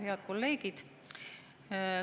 Head kolleegid!